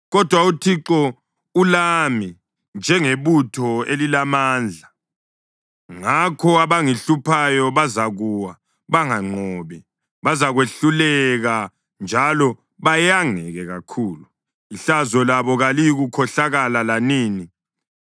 Kodwa uThixo ulami njengebutho elilamandla; ngakho abangihluphayo bazakuwa banganqobi. Bazakwehluleka njalo bayangeke kakhulu; ihlazo labo kaliyikukhohlakala lanini.